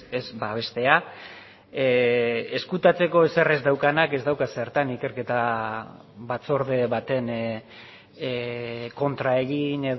ez babestea ezkutatzeko ezer ez daukanak ez dauka zertan ikerketa batzorde baten kontra egin